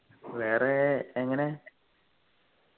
വേറെ എങ്ങനെ